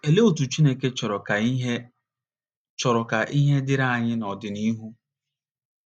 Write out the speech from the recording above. Olee otú Chineke chọrọ ka ihe chọrọ ka ihe dịrị anyị n’ọdịnihu?